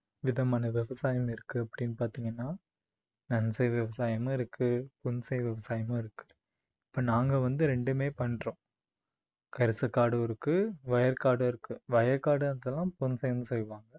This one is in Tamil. விதமான விவசாயம் இருக்கு அப்படின்னு பாத்தீங்கன்னா நன்செய் விவசாயமும் இருக்கு புன்செய் விவசாயமும் இருக்கு. இப்போ நாங்க வந்து ரெண்டுமே பண்றோம். கரிசக்காடும் இருக்கு வயற்காடும் இருக்கு வயல்காடுயெல்லாம் புன்செய்னு சொல்வாங்க